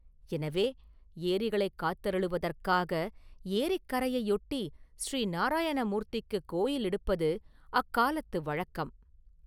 எனவே, ஏரிகளைக் காத்தருளுவதற்காக ஏரிக் கரையையொட்டி ஸரீ நாராயண மூர்த்திக்குக் கோயில் எடுப்பது அக்காலத்து வழக்கம்.